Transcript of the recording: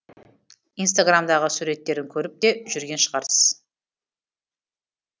инстаграмдағы суреттерін көріп те жүрген шығарсыз